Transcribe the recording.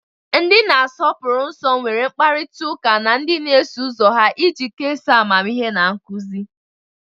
Ndị na-asọpụrụ nsọ nwere mkparịta ụka na ndị na-eso ụzọ ha iji kesaa amamihe na nkuzi